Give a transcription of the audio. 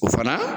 O fana